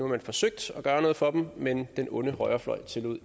man forsøgt at gøre noget for dem men at den onde højrefløj